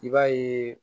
I b'a ye